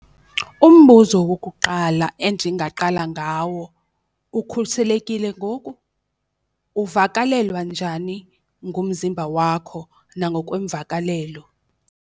Umbuzo wokuqala endingaqala ngawo, ukhuselekile ngoku? Uvakalelwa njani ngumzimba wakho nangokweemvakalelo?